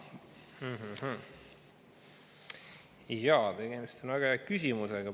Jaa, tegemist on väga hea küsimusega.